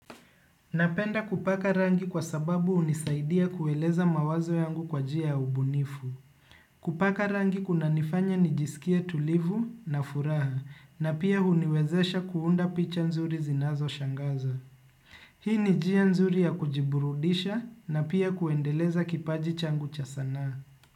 Napenda kupaka rangi kwa sababu hunisaidia kueleza mawazo yangu kwa njia ya ubunifu. Kupaka rangi kunanifanya nijisikie tulivu na furaha na pia huniwezesha kuunda picha nzuri zinazoshangaza. Hii ni njia nzuri ya kujiburudisha na pia kuendeleza kipaji changu cha sanaa.